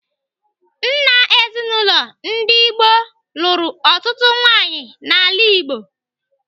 Nna ezinaụlọ ndị gboo lụrụ ọtụtụ nwaanyị n'ala Igbo.